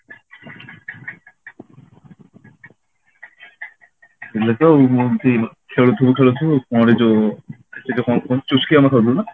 ଏଇଲେ ତ ମୁଁ ଏମିତି ଖେଳୁଥିବୁ ଖେଳୁଥିବୁ କଣ ଯୋ ଯଉ କଣ କୁହନ୍ତି ଚୁସ୍କି ଆମେ ଖାଉଥିଲୁ ନା